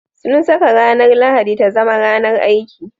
Sun saka ranar Lahadi ta zama ranar aiki.